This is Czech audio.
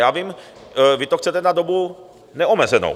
Já vím, vy to chcete na dobu neomezenou.